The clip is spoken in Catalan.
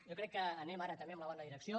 jo crec que anem ara també en la bona direcció